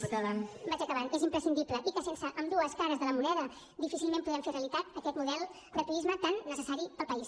vaig acabant és imprescindible i que sense ambdues cares de la moneda difícilment podem fer realitat aquest model de turisme tan necessari per al país